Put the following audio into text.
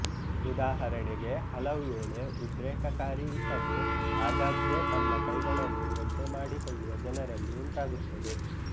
ಉದಾಹರಣೆಗೆ ಹಲವುವೇಳೆ ಉದ್ರೇಕಕಾರಿ ಇಸಬು ಆಗಾಗ್ಗೆ ತಮ್ಮ ಕೈಗಳನ್ನು ಒದ್ದೆ ಮಾಡಿಕೊಳ್ಳುವ ಜನರಲ್ಲಿ ಉಂಟಾಗುತ್ತದೆ